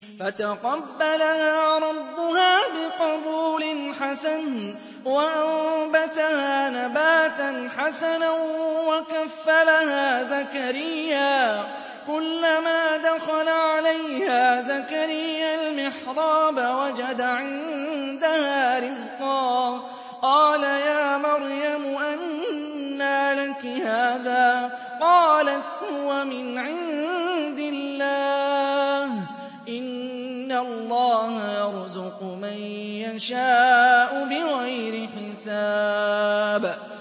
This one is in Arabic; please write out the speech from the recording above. فَتَقَبَّلَهَا رَبُّهَا بِقَبُولٍ حَسَنٍ وَأَنبَتَهَا نَبَاتًا حَسَنًا وَكَفَّلَهَا زَكَرِيَّا ۖ كُلَّمَا دَخَلَ عَلَيْهَا زَكَرِيَّا الْمِحْرَابَ وَجَدَ عِندَهَا رِزْقًا ۖ قَالَ يَا مَرْيَمُ أَنَّىٰ لَكِ هَٰذَا ۖ قَالَتْ هُوَ مِنْ عِندِ اللَّهِ ۖ إِنَّ اللَّهَ يَرْزُقُ مَن يَشَاءُ بِغَيْرِ حِسَابٍ